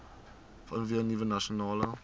vanweë nuwe nasionale